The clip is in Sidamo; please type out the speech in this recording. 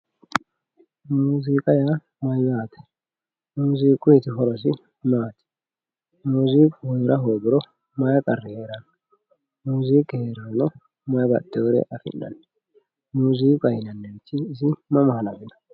musiiqa yaa mayyate musiiquyti horosi maati musiiqu heera hoogirono may qarri heeranno musiqu hogirono mayi baxewore afi'nanni musiiiqaho yinannihu mama hanafino